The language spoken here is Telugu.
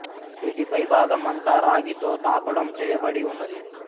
వీటి పైభాగం అంతా రాగి తో తాపడం చేయబడి ఉన్నది